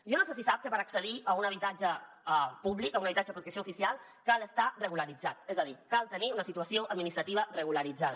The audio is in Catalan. jo no sé si sap que per accedir a un habitatge públic a un habitatge de protecció oficial cal estar regularitzat és a dir cal tenir una situació administrativa regularitzada